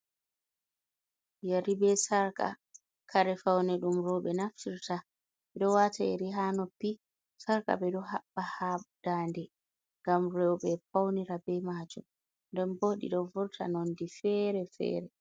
Ƴari be sarqa kare faune ɗum roɓe naftirta. ɓeɗonwata ƴiri ha noppi sarqa ɓeɗo haɓɓa ha dande, ngam roɓe faunira be majum. nden bo ɗiɗo vurta nonde fere fere.